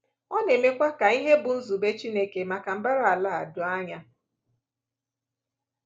Ọ na-emekwa ka ihe bụ́ nzube Chineke maka mbara ala a doo anya.